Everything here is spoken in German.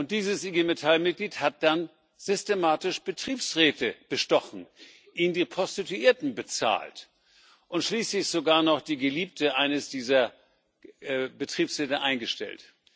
Dieses IG Metall Mitglied hat dann systematisch Betriebsräte bestochen, ihnen die Prostituierten bezahlt und schließlich sogar noch die Geliebte eines dieser Betriebsräte eingestellt.